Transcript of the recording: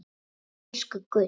Elsku gull.